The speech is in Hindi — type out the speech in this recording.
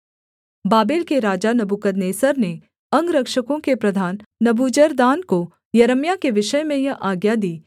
बाबेल के राजा नबूकदनेस्सर ने अंगरक्षकों के प्रधान नबूजरदान को यिर्मयाह के विषय में यह आज्ञा दी